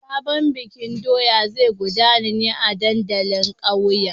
Sabon bikin doya zai gudana ne a dandalin ƙauye.